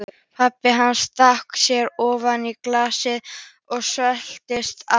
Pabbi hans stakk sér ofan í glasið og svelgdist á.